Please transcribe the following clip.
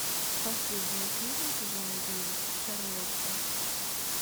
последняя серия сезона девять шарлотта